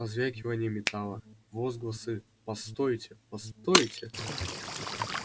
позвякивание металла возгласы постойте постойте